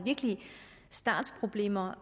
startproblemer